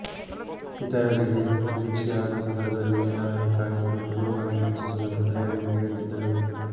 ಇತರರಿಗೆ ದೀಕ್ಷೆಯಾಗುವ ಸಂದರ್ಭದಲ್ಲಿ ಏನಾದರೂ ಕಾಣಿಕೆ ಕೊಟ್ಟು ಗುರುವನ್ನು ಮೆಚ್ಚಿಸುವಂತೆ ಪ್ರೇರಣೆ ನೀಡುತ್ತಿದ್ದಳು